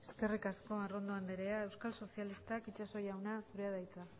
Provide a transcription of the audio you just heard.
eskerrik asko arrondo andrea euskal sozialistak itsaso jauna zurea da hitza